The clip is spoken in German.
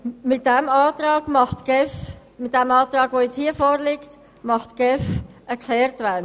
Mit dem vorliegenden Antrag macht die GEF eine Kehrtwendung.